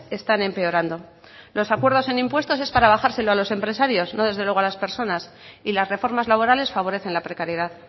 están empeorando los acuerdos en impuestos es para bajárselos a los empresarios no desde luego a las personas y las reformas laborales favorecen la precariedad